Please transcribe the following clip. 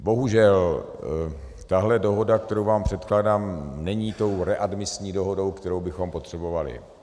Bohužel tahle dohoda, kterou vám předkládám, není tou readmisní dohodou, kterou bychom potřebovali.